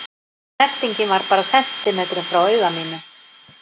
Snertingin var bara sentímetrum frá auga mínu.